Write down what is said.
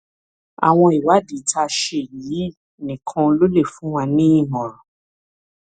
àwọn ìwádìí tá a ṣe yìí nìkan ò lè fún wa nímọràn